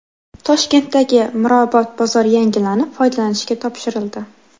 Toshkentdagi Mirobod bozori yangilanib, foydalanishga topshirildi.